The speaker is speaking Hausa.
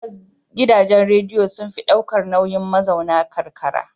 Tabbas, gidajen rediyo sun fi ɗaukar nauyin mazauna karkara.